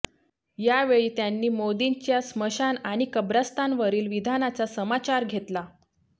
यावेळी त्यांनी मोदींच्या स्मशान आणि कब्रस्तानवरील विधानाचा समाचार घेतला